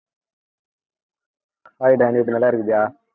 hai நல்லா இருக்கியா